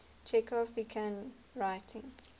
chekhov began writing